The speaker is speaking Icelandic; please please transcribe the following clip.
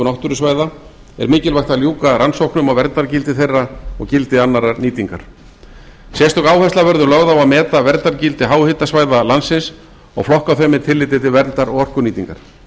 náttúrusvæða er mikilvægt að ljúka rannsóknum á verndargildi þeirra og gildi annarrar nýtingar sérstök áhersla verður lögð á að meta verndargildi háhitasvæða landsins og flokka þau með tilliti til verndar og orkunýtingar